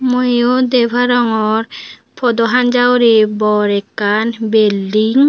mui eyot deparangor podo hanjahureh bor ekan building.